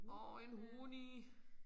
Orh en hunni